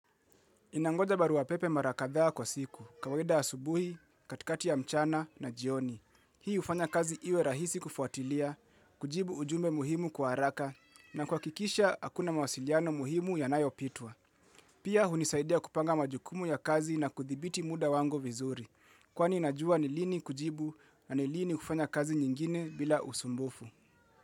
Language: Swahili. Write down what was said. Ninangoja barua pepe mara kadhaa kwa siku, kawaida asubuhi, katikati ya mchana na jioni. Hii hufanya kazi iwe rahisi kufuatilia, kujibu ujumbe muhimu kwa haraka, na kuhakikisha hakuna mawasiliano muhimu yanayopitwa. Pia hunisaidia kupanga majukumu ya kazi na kuthibiti muda wangu vizuri. Kwani najua ni lini kujibu na ni lini kufanya kazi nyingine bila usumbufu.